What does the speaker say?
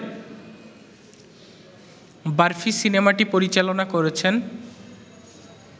বারফি সিনেমাটি পরিচালনা করছেন